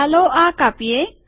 ચાલો આ કાપીએ